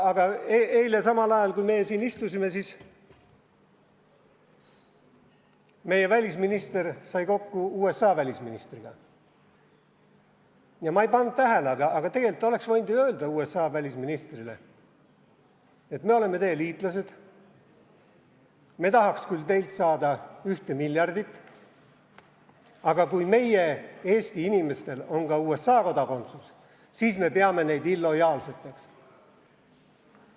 Aga eile samal ajal, kui meie siin istusime, sai meie välisminister kokku USA välisministriga ja ma ei pannud tähele, aga tegelikult ta oleks võinud ju USA välisministrile öelda, et me oleme teie liitlased, me tahaks küll teilt saada 1 miljardit, aga kui meie Eesti inimestel on ka USA kodakondsus, siis me peame neid ebalojaalseteks.